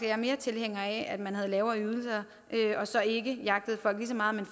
jeg mere er tilhænger af at man har lavere ydelser og så ikke jagter folk lige så meget men